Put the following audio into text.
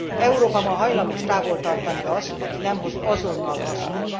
Európa ma hajlamos távol tartani azt, aki nem hoz azonnal hasznot.